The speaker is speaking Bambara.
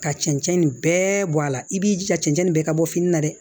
Ka cɛncɛn nin bɛɛ bɔ a la i b'i jija cɛncɛn nin bɛɛ ka bɔ fini na dɛ